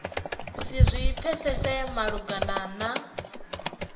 si zwi pfesese malugana na